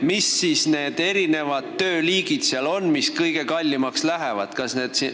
Mis tööliigid seal siis kõige kallimaks lähevad?